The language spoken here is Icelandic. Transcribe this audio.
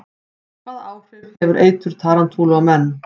Hvaða áhrif hefur eitur tarantúlu á menn?